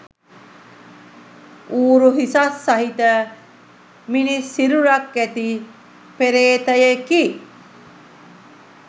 ඌරු හිසක් සහිත, මිනිස් සිරුරක් ඇති පේ්‍රතයෙකි.